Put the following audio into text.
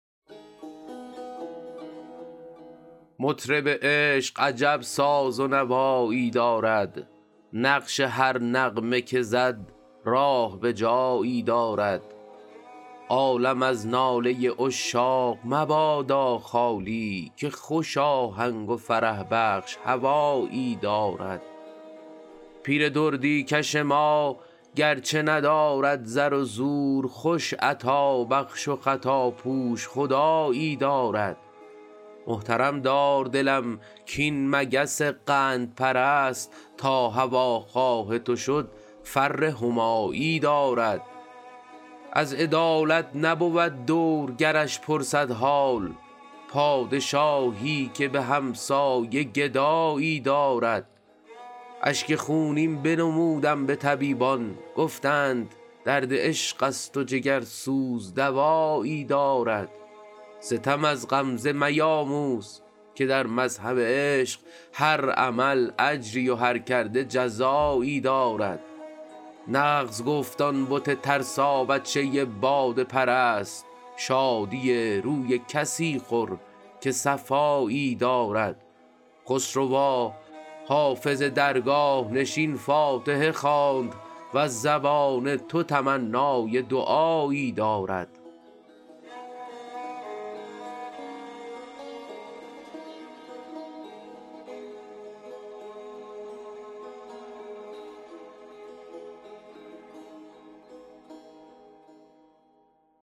مطرب عشق عجب ساز و نوایی دارد نقش هر نغمه که زد راه به جایی دارد عالم از ناله عشاق مبادا خالی که خوش آهنگ و فرح بخش هوایی دارد پیر دردی کش ما گرچه ندارد زر و زور خوش عطابخش و خطاپوش خدایی دارد محترم دار دلم کاین مگس قندپرست تا هواخواه تو شد فر همایی دارد از عدالت نبود دور گرش پرسد حال پادشاهی که به همسایه گدایی دارد اشک خونین بنمودم به طبیبان گفتند درد عشق است و جگرسوز دوایی دارد ستم از غمزه میاموز که در مذهب عشق هر عمل اجری و هر کرده جزایی دارد نغز گفت آن بت ترسابچه باده پرست شادی روی کسی خور که صفایی دارد خسروا حافظ درگاه نشین فاتحه خواند وز زبان تو تمنای دعایی دارد